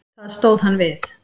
Það stóð hann við.